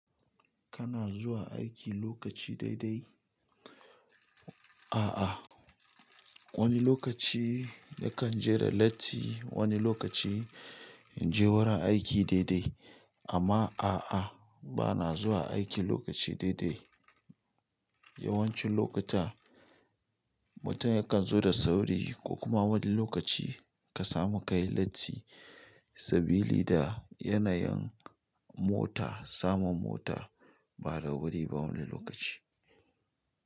Kana zuwa aiki lokaci dai dai. Aa wani lokaci nakan je da latti wani lokaci in je wurin aiki dai dai amma a'a, ba na zuwa aiki lokaci daidai. Yawancin lokuta mutum yakan zo da sauri ko kuma wani lokaci ka samu ka yi latti sabilida yanayin mota, samun mota ba da wuri ba wani lokaci.